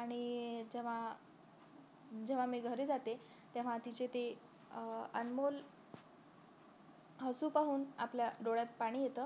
आणि जेव्हा जेव्हा मी घरी जाते तेव्हा तिचे ते अं अनमोल हसू पाहून आपल्या डोळ्यात पाणी येत